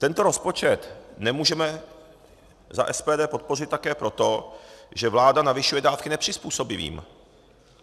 Tento rozpočet nemůžeme za SPD podpořit také proto, že vláda navyšuje dávky nepřizpůsobivým.